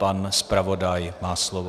Pan zpravodaj má slovo.